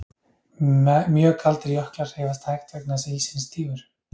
Mjög kaldir jöklar hreyfast hægt vegna þess að ísinn er stífur.